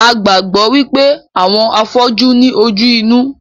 A gbàgbọ́ wípé àwọn afọ́jú ní ojú inú